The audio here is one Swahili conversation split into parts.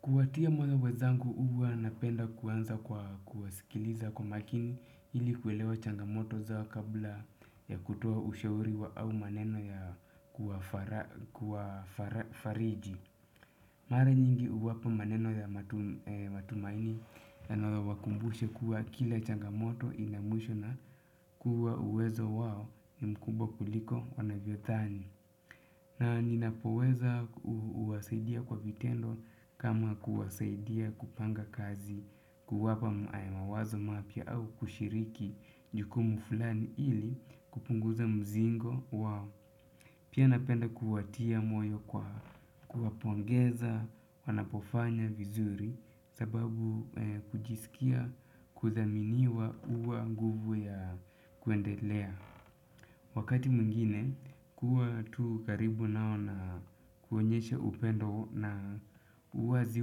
Kuwatia moyo wezangu huwa napenda kuanza kwa kuwasikiliza kwa makini ili kuwelewa changamoto zao kabla ya kutua ushauri au maneno ya kuwafariji. Mara nyingi huwapa maneno ya matumaini na wakumbushe kuwa kila changamoto ina mwisho na kuwa uwezo wao ni mkubwa kuliko wanavyodhani. Na ninapoweza huwasaidia kwa vitendo kama kuwasaidia kupanga kazi kuwapa mawazo mapya au kushiriki jukumu fulani ili kupunguza mzigo wao. Pia napenda kuwatia moyo kwa kuwapongeza wanapofanya vizuri sababu kujisikia kudhaminiwa huwa guvu ya kuendelea. Wakati mwingine kuwa tu karibu nao na kuonyesha upendo na uwazi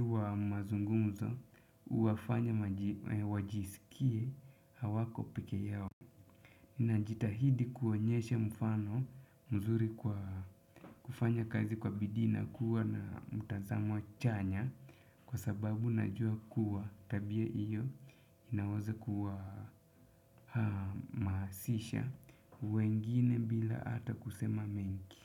wa mazungumzo huwafanya wajisikie hawako peke yao najitahidi kuonyesha mfano mzuri kwa kufanya kazi kwa bidii na kuwa na mtazamo chanya kwa sababu najua kuwa tabia iyo inawaza kuwa hamasisha wengine bila ata kusema mengi.